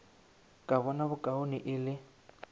ka bona bokaone e le